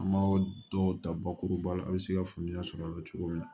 An b'a dɔw ta bakuruba la a be se ka faamuya sɔr'a la cogo min na